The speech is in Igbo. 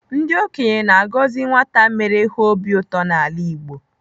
Ndị okenye na-agọzi nwata mere ha obi ụtọ n'ala Igbo.